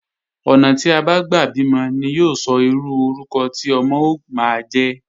Ọ̀nà tí a bá gbà bímọ ni yóò sọ irú orúkọ tí ọmọ ó máa jẹ́